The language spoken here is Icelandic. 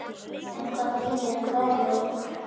En hvað þýðir kveða úr?